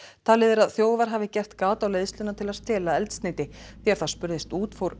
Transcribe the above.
talið er að þjófar hafi gert gat á leiðsluna til að stela eldsneyti þegar það spurðist út fór